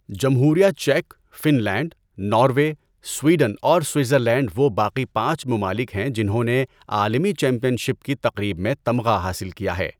جمہوریہ چیک، Finland, Norway, Sweden اور سوئٹزرلینڈ وہ باقی پانچ ممالک ہیں جنہوں نے عالمی چیمپئن شپ کی تقریب میں تمغہ حاصل کیا ہے۔